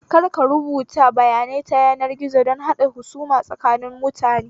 Ka daina rubuta bayanai ta yanar gizo don haɗa husuma tsakanin mutane